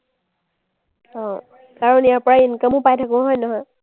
অ, কাৰণ ইয়াৰপৰাই income পাই থাকোঁ, হয় নহয়?